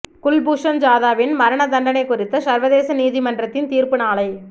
குல்பூஷன் ஜாதவின் மரண தண்டனை குறித்த சர்வதேச நீதிமன்றத்தின் தீர்ப்பு நாளை